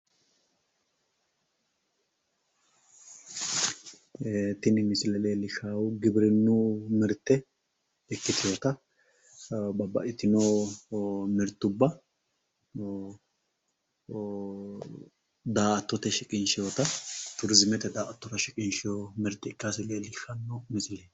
Tini misile leellishshaahu giwirinnu mirte ikkitinota babbaxxitino mirtubba daa"attote shiqinshoyita turiziimete daa"attora shiqinshoyi mirte ikkase leellishshanno misileeti.